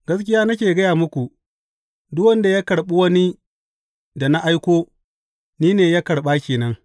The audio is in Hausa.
Gaskiya nake gaya muku, Duk wanda ya karɓi wani da na aiko, ni ne ya karɓa ke nan.